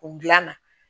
O gilan na